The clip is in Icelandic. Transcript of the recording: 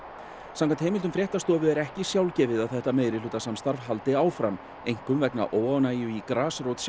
samkvæmt heimildum fréttastofu er ekki sjálfgefið að þetta meirihlutasamstarf haldi áfram einkum vegna óánægju í grasrótinni